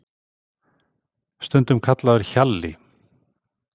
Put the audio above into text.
Stundum kallaður Hjalli